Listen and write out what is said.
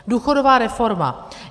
Důchodová reforma.